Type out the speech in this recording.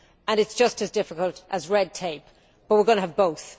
It is just as difficult as red tape but we are going to have both.